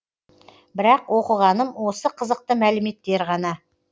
бірақ оқығаным осы қызықты мәліметтер ғана